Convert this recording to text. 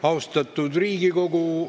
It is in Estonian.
Austatud Riigikogu!